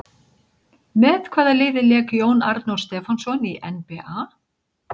Með hvaða liði lék Jón Arnór Stefánsson í NBA?